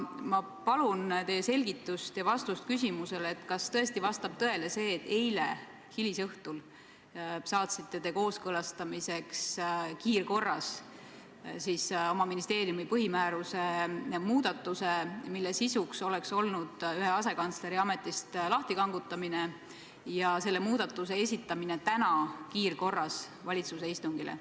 Ma palun teilt selgitust ja vastust küsimusele, kas tõesti vastab tõele see, et eile hilisõhtul saatsite te kiirkorras kooskõlastamisele oma ministeeriumi põhimääruse muudatuse, mille sisuks oleks olnud ühe asekantsleri ametist lahtikangutamine ja selle muudatuse esitamine täna kiirkorras valitsuse istungile.